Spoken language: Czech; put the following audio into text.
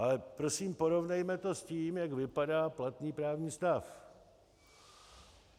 Ale prosím porovnejme to s tím, jak vypadá platný právní stav.